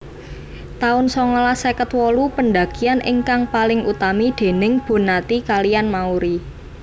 taun songolas seket wolu pendakian ingkang paling utami déning Bonnati kaliyan Mauri